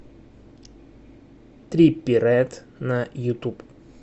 триппи рэд на ютуб